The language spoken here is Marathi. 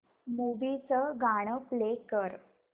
मूवी चं गाणं प्ले कर